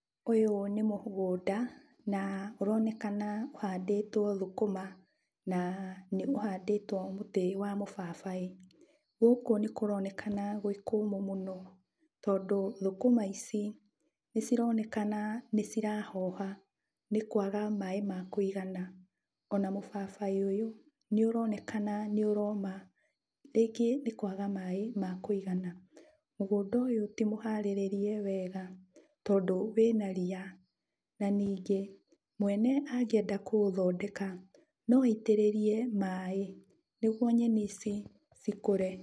Ũyũ nĩ mũgũnda na ũronekana ũhandĩtwo thũkũma na nĩũhandĩtwo mũtĩ wa mũbabaĩ. Gũkũ nĩkũronekana gwĩ kũmũ mũno, tondũ thũkũma ici nĩcironekana nĩcirahoha nĩ kwaga maĩ ma kũigana. Ona mũbabaĩ ũyũ nĩũronekana nĩũroma, rĩngĩ nĩ kwaga maĩ ma kũigana. Mũgũnda ũyũ ti mũharĩrĩrie wega, tondũ wĩna ria. Ningĩ mwene angĩenda kũũthondeka, no aitĩrĩrie maĩ nĩguo nyeni ici cikũre.